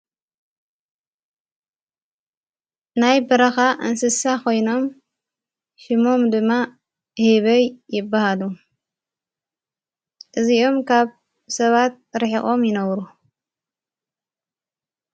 ናይ በረኻ ኣንስሳ ኾይኖም ሽሞም ድማ ሂበይ ይበሃሉ እዚኦም ካብ ሰባት ርሒቖም ይነብሩ።